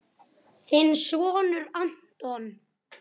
Þinn sonur, Anton.